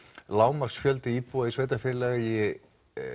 lágmarksfjöldi íbúa í sveitarfélagi